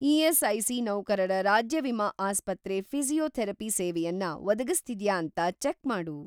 ESIC. ನೌಕರರ ರಾಜ್ಯ ವಿಮಾ ಆಸ್ಪತ್ರೆ ಫಿ಼ಸಿಯೋಥೆರಪಿ ಸೇವೆಯನ್ನ ಒದಗಿಸ್ತಿದ್ಯಾ ಅಂತ ಚೆಕ್‌ ಮಾಡು.